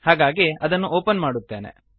ಹಾಗಾಗಿ ಅದನ್ನು ಓಪನ್ ಮಾಡುತ್ತೇನೆ